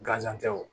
Gazan tɛ o